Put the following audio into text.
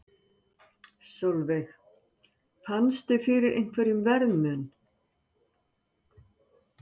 Sólveig: Fannstu fyrir einhverjum verðmun?